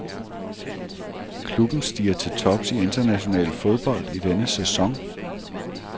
Klubben stiger til tops i international fodbold i denne sæson.